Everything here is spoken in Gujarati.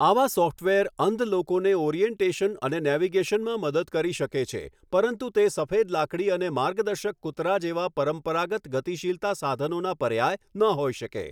આવા સોફ્ટવેર અંધ લોકોને ઓરિએન્ટેશન અને નેવિગેશનમાં મદદ કરી શકે છે, પરંતુ તે સફેદ લાકડી અને માર્ગદર્શક કૂતરા જેવા પરંપરાગત ગતિશીલતા સાધનોના પર્યાય ન હોઈ શકે.